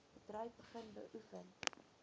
bedryf begin beoefen